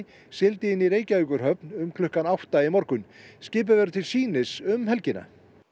sigldi inn í Reykjavíkurhöfn um klukkan átta í morgun skipið verður til sýnis um helgina